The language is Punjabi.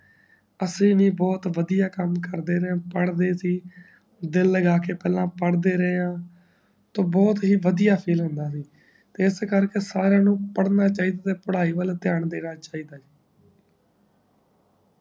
ਅਸੀਂ ਵੀ ਬਹੁਤ ਵੜਿਆ ਕਾਮ ਕਰਦੇ ਸੀ ਪੜਦੇ ਸੀ ਦਿਲ ਲਗਾਕੇ ਪਹਿਲਾ ਪਦੇਦੇ ਰਹਏਂ ਤੇ ਬਹੁਤ ਹੀ ਵੜਿਆ ਫੀਲ ਹੁੰਦਾ ਤੇ ਐੱਸ ਕਰਕੇ ਸਾਰਿਆਂ ਨੂੰ ਪੜਨਾ ਚਾਹੀਦਾ ਤੇ ਪੜ੍ਹਾਈ ਵੱਲ ਤਆਂ ਦੇਣਾ ਚਾਹੀਦਾ